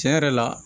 Tiɲɛ yɛrɛ la